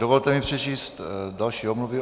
Dovolte mi přečíst další omluvy.